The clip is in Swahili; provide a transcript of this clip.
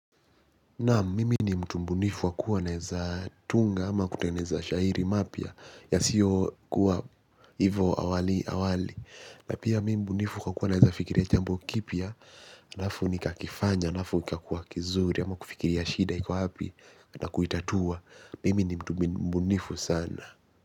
Nam mimi ni mtumbunifu wakua naeza tunga ama kutengeza shairi mapia ya sio kuwa hivo awali awali. Na pia mimi mtumbunifu wakua naeza fikiria chambo kipia na hafu ni kakifanya na hafu ni kakifanya na hafu ni kakua kizuri ama kufikiria shida iku hapi na kuitatua. Mimi ni mtumbunifu sana.